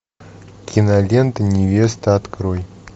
кинолента невеста открой